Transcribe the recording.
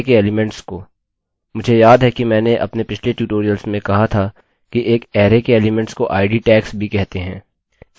मुझे याद है कि मैंने अपने पिछले ट्यूटोरियल्स में कहा था कि एक अरैarrayके एलीमेंट्स को id tags भी कहते हैं